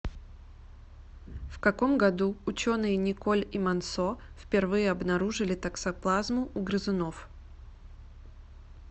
в каком году ученые николь и мансо впервые обнаружили токсоплазму у грызунов